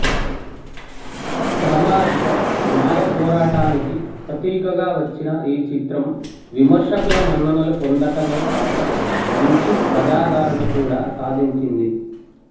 సామాజిక న్యాయపోరాటానికి ప్రతీకగా వచ్చిన ఈ చిత్రం విమర్శకుల మన్ననలు పొందటమే గాక మంచి ప్రజాదరణ కూడా సాధించింది